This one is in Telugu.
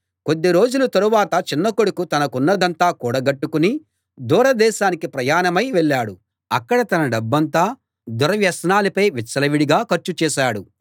కొద్ది రోజుల తరువాత చిన్న కొడుకు తనకున్నదంతా కూడగట్టుకుని దూర దేశానికి ప్రయాణమై వెళ్ళాడు అక్కడ తన డబ్బంతా దుర్వ్యసనాలపై విచ్చలవిడిగా ఖర్చు చేశాడు